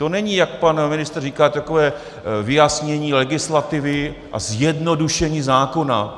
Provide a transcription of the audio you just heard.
To není, jak pan ministr říkal, takové vyjasnění legislativy a zjednodušení zákona.